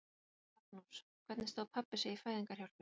Magnús: Hvernig stóð pabbi sig í fæðingarhjálpinni?